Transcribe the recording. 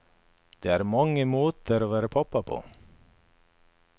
Det er mange måter å være pappa på.